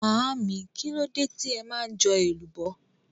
Màámi, kílódé tí ẹ ma jọ èlùbọ́?